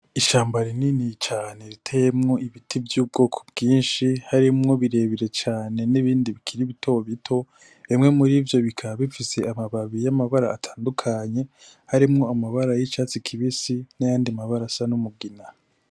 Ishamba rinini cane riteyemwo ibiti vy'ubwoko bwinshi, harimwo birebire cane n'ibindi bikiri bito bito, bimwe muri vyo bikaba bifise amababi y'amabara atandukanye, harimwo amabara y'icatsi kibisi, n'ayandi mabara asa n'umugina.